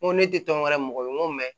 N ko ne tɛ tɔn wɛrɛ mɔgɔ ye n ko